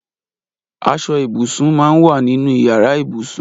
Aṣọ ibúsín má n wà ninú iyàrá ibúsún